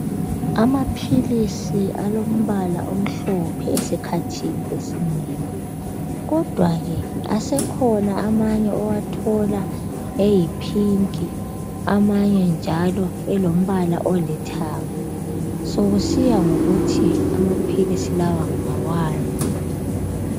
Amaphilisi alombala omhlophe esikhathini esinengi kodwa ke asekhona amanye owathola eyiphinki amanye njalo elombala olithanga sokusiya ngokuthi amaphilisi lawa ngawani.